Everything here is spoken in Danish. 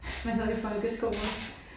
Man havde i folkeskolen